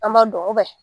An b'a dɔn